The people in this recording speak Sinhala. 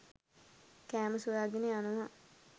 කෑම සොයාගෙන යනවා.